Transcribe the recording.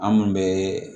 An minnu bɛ